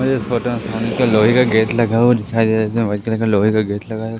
मुझे इस फोटो में लोहे का गेट लगा हुआ दिखाई दे रहा है जिसमे वाइट कलर का लोहे का गेट लगा है।